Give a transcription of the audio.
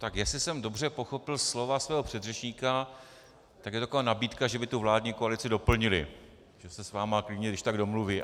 Tak jestli jsem dobře pochopil slova svého předřečníka, tak je to taková nabídka, že by tu vládní koalici doplnili, že se s vámi klidně když tak domluví.